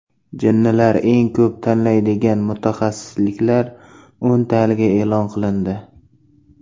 Jinnilar eng ko‘p tanlaydigan mutaxassisliklar o‘ntaligi e’lon qilindi.